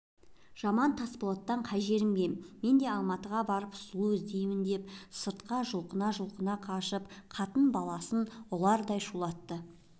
жаман тасболаттан қай жерім кем мен де алматыға барып сұлу іздеймін деп сыртқа жұлқына-жұлқына қашып қатын-баласын ұлардай шулатыпты